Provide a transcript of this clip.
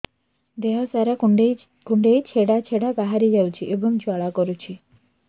ଦେହ ସାରା କୁଣ୍ଡେଇ କୁଣ୍ଡେଇ ଛେଡ଼ା ଛେଡ଼ା ବାହାରି ଯାଉଛି ଏବଂ ଜ୍ୱାଳା କରୁଛି